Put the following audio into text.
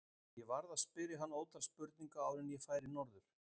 Ég varð að spyrja hann ótal spurninga áður en ég færi norður.